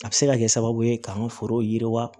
A bɛ se ka kɛ sababu ye k'an ka forow yiriwa